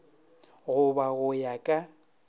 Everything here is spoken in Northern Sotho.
go ba go ya ka